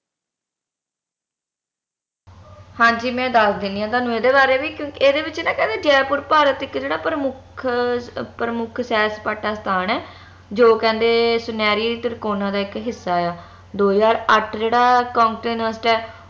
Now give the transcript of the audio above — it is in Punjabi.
ਹਾਂਜੀ ਮੈਂ ਦਸ ਦੇਣੀ ਆ ਤੁਹਾਨੂੰ ਏਹਦੇ ਬਾਰੇ ਵੀ ਇਹਦੇ ਵਿਚ ਨਾ ਕਹਿੰਦੇ ਜੈਪੁਰ ਭਾਰਤ ਇਕ ਪ੍ਰਮੁੱਖ ਅਹ ਪ੍ਰਮੁੱਖ ਸੈਰ ਸਪਾਟਾ ਸਥਾਨ ਆ ਜੋ ਕਹਿੰਦੇ ਸੁਨੈਰੀ ਤਾਰਕੋਨਾ ਦਾ ਇਕ ਹਿੱਸਾ ਆ ਦੋ ਹਜਾਰ ਆਠ ਜਿਹੜਾ continent ਆ